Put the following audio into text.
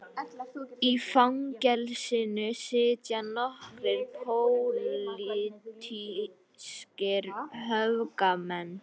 Í fangelsinu sitja nokkrir pólitískir öfgamenn